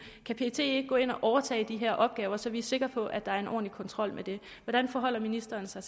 kan pet ikke gå ind og overtage de her opgaver så vi er sikre på at der er en ordentlig kontrol med det hvordan forholder ministeren sig